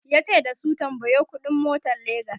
yace da su"tambayo ƙuɗi n motan legas!"